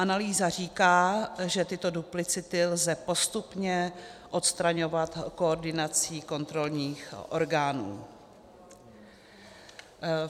Analýza říká, že tyto duplicity lze postupně odstraňovat koordinací kontrolních orgánů.